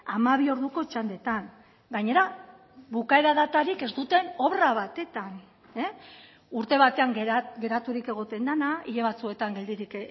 hamabi orduko txandetan gainera bukaera datarik ez duten obra batetan urte batean geraturik egoten dena hile batzuetan geldirik